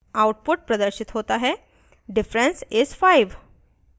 output प्रदर्शित होता है diff is 5